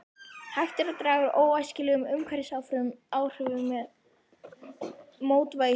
Hægt er að draga úr óæskilegum umhverfisáhrifum með mótvægisaðgerðum.